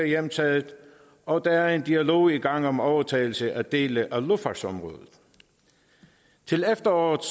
hjemtaget og der er en dialog i gang om overtagelse af dele af luftfartsområdet til efteråret